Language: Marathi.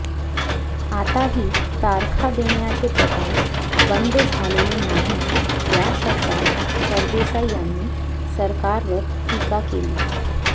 आताही तारखा देण्याचे प्रकार बंद झालेले नाही या शब्दात सरदेसाई यांनी सरकारवर टीका केली